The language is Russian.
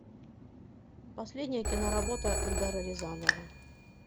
последняя киноработа эльдара рязанова